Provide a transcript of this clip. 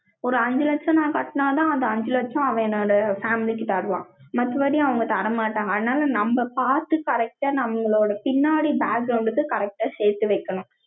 ஒரு அஞ்சு லட்சம், நான் கட்டினாதான், அந்த அஞ்சு லட்சம், அவன் என்னோட family க்கு தருவான். மத்தபடி, அவங்க தர மாட்டாங்க. அதனால, நம்ம பார்த்து, correct ஆ, நம்மளோட பின்னாடி க்கு, correct ஆ சேர்த்து வைக்கணும்